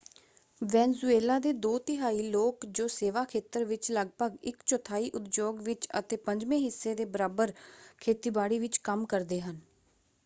Venezuela ਦੇ ਦੋ ਤਿਹਾਈ ਲੋਕ ਜੋ ਸੇਵਾ ਖੇਤਰ ਵਿੱਚ ਲਗਭਗ ਇੱਕ ਚੌਥਾਈ ਉਦਯੋਗ ਵਿੱਚ ਅਤੇ ਪੰਜਵੇਂ ਹਿੱਸੇ ਦੇ ਬਰਾਬਰ ਖੇਤੀਬਾੜੀ ਵਿੱਚ ਕੰਮ ਕਰਦੇ ਹਨ।